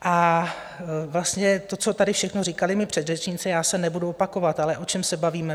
A vlastně to, co tady všechno říkali mí předřečníci, já se nebudu opakovat - ale o čem se bavíme?